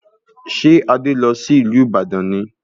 Ṣé Adé lọ sí ìlú Ibadan ni